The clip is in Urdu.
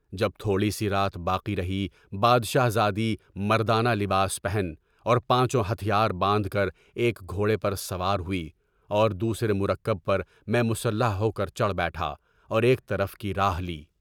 جب تھوڑی سی رات باقی رہی، بادشاہ زادی مردانہ لباس پہن کر اور پانچھو ہتھیار باندھ کر ایک ایک گھوڑے پر سوار ہوئی، اور دوسرے مرتبے پر میں مسلح ہو کر چڑھ بیٹھا، اور ایک طرف کی راہ لی۔